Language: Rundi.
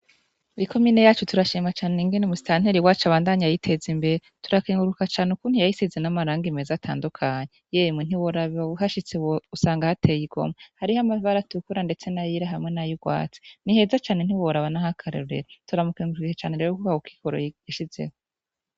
Mwi komine yacu turashima cane ingene Musitanteri abandanya ayiteza imbere, turakenguruka cane ukuntu yayisize amarangi meza atandukanye, yemwe ntiworaba uhashitse usanga hateye igomwe, hariho amabara atukura ndetse n'ayera hamwe yay'urwatsi, niheza cane ntiworaba nah'akarorero, turamukengurukiye cane rero kurako kigoro yishizeko